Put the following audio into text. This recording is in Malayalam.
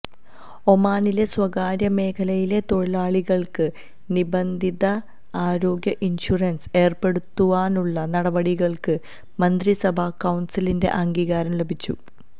ഒമാനിലെ സ്വകാര്യാ മേഖലയിലെ തൊഴിലാളികൾക്ക് നിബന്ധിത ആരോഗ്യ ഇൻഷുറൻസ് ഏര്പെടുത്തുവാനുള്ള നടപടികൾക്ക് മന്ത്രി സഭ കൌൺസിലിന്റെ അംഗീകാരം ലഭിച്ചു